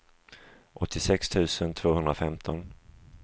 åttiosex tusen tvåhundrafemton